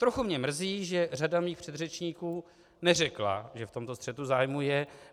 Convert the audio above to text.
Trochu mě mrzí, že řada mých předřečníků neřekla, že v tomto střetu zájmu je.